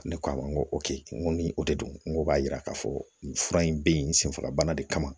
Ne ko a ma n ko n ko ni o de don n ko b'a yira k'a fɔ nin fura in be yen senfagabana de kama